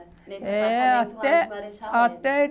É, até... Nesse apartamento lá de Marechal mesmo? Até